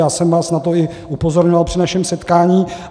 Já jsem vás na to i upozorňoval při našem setkání.